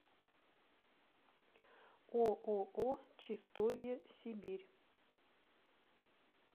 ооо чистовье сибирь